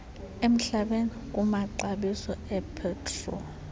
emhlabeni kumaxabiso epetroli